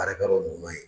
Baarakɛyɔrɔ ɲuman ye